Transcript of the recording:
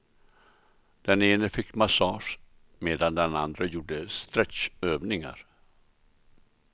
Den ena fick massage medan den andra gjorde stretchövningar.